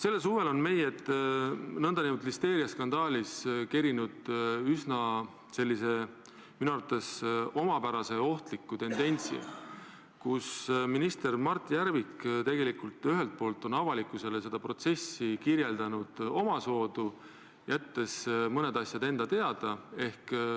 Selle suve listeeriaskandaalis on esile kerkinud üsna selline, minu arvates omapärane ja ohtlik tendents, mille korral minister Mart Järvik on ühelt poolt avalikkusele kirjeldanud seda protsessi omamoodi, jättes mõned asjad enda teada.